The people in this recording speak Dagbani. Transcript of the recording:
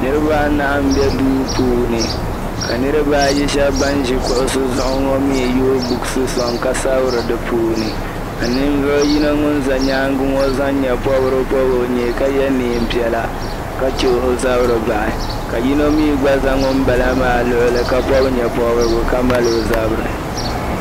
Niriba nahi n be duu puuni ka niriba ayi shab ban ʒi kuɣisi zuɣu ŋɔ mi yooi books soŋ ka sabiri di puuni ka nin vuɣu yino ŋun za nyaaŋa ŋɔ zaɣ'nye pobiri pobi o nyee ka ye neen'piɛla ka che o zabiri bahi ka yino mi gba zan ŋun bala maa luɣuli ka pobi nye pobirigi ka mali o zabiri.